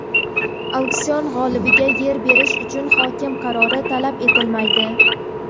Auksion g‘olibiga yer berish uchun hokim qarori talab etilmaydi.